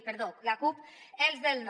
perdó la cup els del no